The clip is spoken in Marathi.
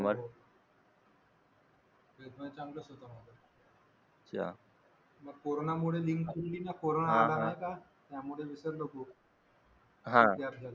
हो ट्वेल्थ मध्ये चांगलंच होतं ग्रामर मग कोरोनामुळे कोरोना आला नाही का त्यामुळे विसरलो खूप